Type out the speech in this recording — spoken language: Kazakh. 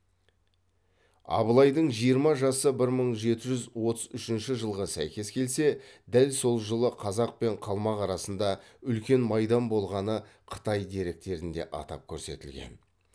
абылайдың жиырма жасы бір мың жеті жүз отыз үшінші жылға сәйкес келсе дәл сол жылы қазақ пен қалмақ арасында үлкен майдан болғаны қытай деректерінде атап көрсетілген